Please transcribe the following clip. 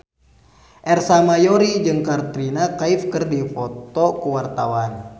Ersa Mayori jeung Katrina Kaif keur dipoto ku wartawan